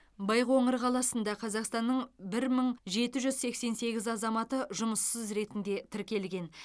байқоңыр қаласында қазақстанның бір мың жеті жүз сексен сегіз азаматы жұмыссыз ретінде тіркелген